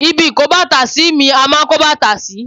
Ibi ìkóbàtàsí mi a máa ń kó bàtà sí.